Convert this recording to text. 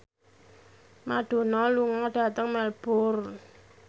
Madonna lunga dhateng Melbourne